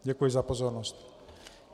Děkuji za pozornost.